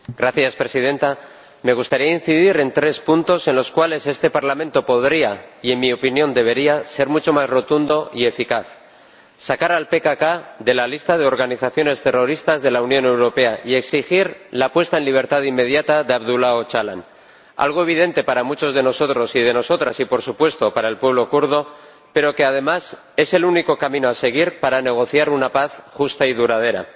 Señora Presidenta, me gustaría incidir en tres puntos en los cuales este Parlamento podría —y, en mi opinión, debería— ser mucho más rotundo y eficaz. En primer lugar, sacar al PKK de la lista de organizaciones terroristas de la Unión Europea y exigir la puesta en libertad inmediata de Abdulá Ocalan, algo evidente para muchos de nosotros y de nosotras y, por supuesto, para el pueblo kurdo, pero que, además, es el único camino a seguir para negociar una paz justa y duradera.